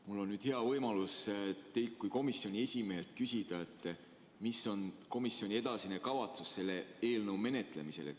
Mul on nüüd hea võimalus teilt kui komisjoni esimehelt küsida, mis on komisjoni edasine kavatsus selle eelnõu menetlemisel.